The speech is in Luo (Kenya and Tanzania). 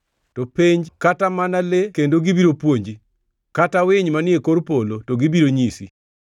“To penj kata mana le kendo gibiro puonji, kata winy manie kor polo, to gibiro nyisi;